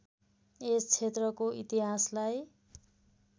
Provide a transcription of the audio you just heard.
यस क्षेत्रको इतिहासलाई